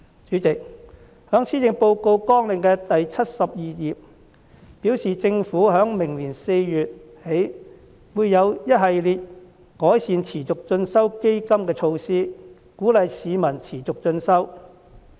主席，政府在相關的施政綱領第72頁中表示，政府在明年4月起會有一系列改善持續進修基金的措施，鼓勵市民持續進修。